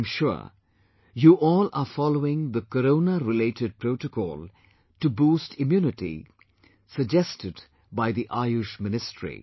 I am sure you all are following the Coronarelated protocol to boost immunity suggested by the Ayush ministry